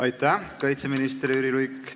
Aitäh, kaitseminister Jüri Luik!